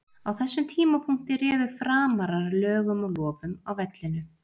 Á þessum tímapunkti réðu Framarar lögum og lofum á vellinum.